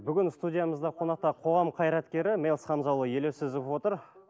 бүгін студиямызда қонақта қоғам қайреткері мелс хамзаұлы елеусизов отыр